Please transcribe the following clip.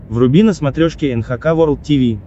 вруби на смотрешке эн эйч кей волд ти ви